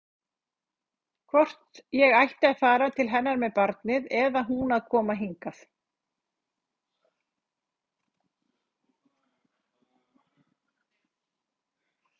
Hvort ég ætti að fara til hennar með barnið eða hún að koma hingað.